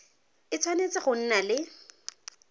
e tshwanetse go nna le